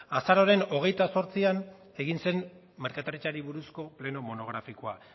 azaroaren hogeita zortzian egin zen merkataritzari buruzko pleno monografikoa